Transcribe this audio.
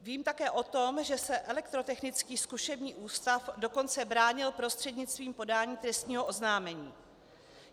Vím také o tom, že se Elektrotechnický zkušební ústav dokonce bránil prostřednictvím podání trestního oznámení.